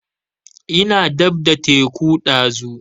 Ina dab da teku ɗazu